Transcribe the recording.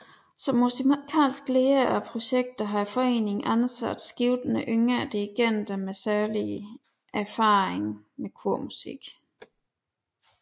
Som musikalsk leder af projekterne har foreningen ansat skiftende yngre dirigenter med særlig erfaring med kormusik